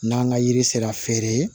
N'an ka yiri sera feere ye